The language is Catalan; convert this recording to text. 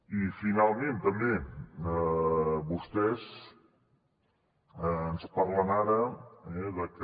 i finalment també vostès ens parlen ara de que